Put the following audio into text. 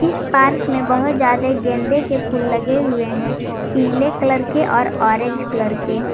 इस पार्क में बहोत ज्यादे गेंदे के फूल लगे हुए हैं पीले कलर के और ऑरेंज कलर के।